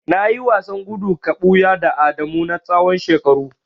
Nayi wasan gudu ka buya da Adamu na tsawon shekaru.